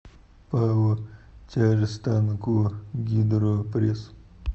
пао тяжстанкогидропресс